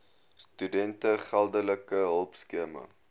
studente geldelike hulpskema